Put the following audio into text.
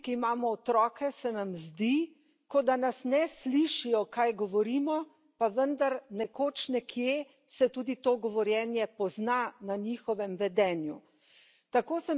Včasih se tistim, ki imamo otroke, zdi, kot da nas ne slišijo, kaj govorimo, pa vendar nekoč, nekje, se tudi to govorjenje pozna na njihovem vedenju.